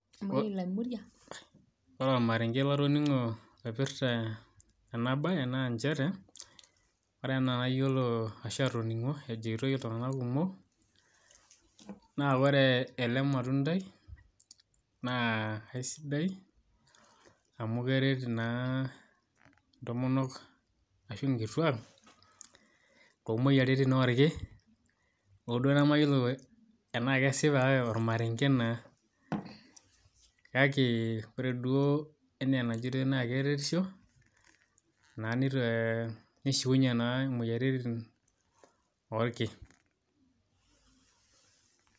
Ore ormarenke latoning'o loipirta ena bae naa njere, ore enaa nayiolo ashu atoning'o ejitoi iltung'anak kumok, naa ore ele matundai, naa aisidai, amu keret naa intomonok ashu nkituak, tomoyiaritin orkin, ho duo namayiolo enaa kesipa kake ormarenke naa. Kake ore duo enaa enajitoi naa keretisho, naa nite nishiunye naa moyiaritin orki.